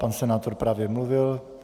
Pan senátor právě mluvil.